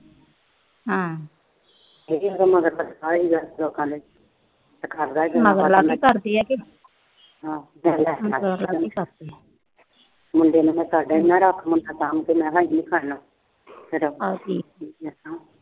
ਉਹਦੇ ਮਗਰ ਲੱਗਾ ਹੋਇਆ ਮੁੰਡੇ ਨੂੰ ਤਾਂ ਰੱਖ ਲਉ ਸਾਂਭ ਕੇ